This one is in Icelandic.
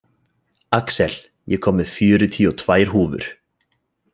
Axel, ég kom með fjörutíu og tvær húfur!